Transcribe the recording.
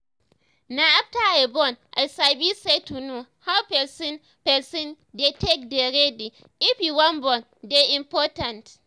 na after i born i sabi say to know how person person dey take dey ready if you wan born dey important